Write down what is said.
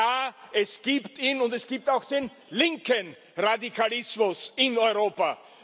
Ja, es gibt ihn, und es gibt auch den linken Radikalismus in Europa.